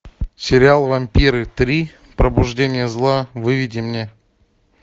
сериал вампиры три пробуждение зла выведи мне